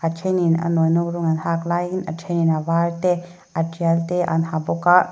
a ṭhenin a nawinawk rawng an hak laiin a ṭhenin avar te a ṭial te an ha bawk a--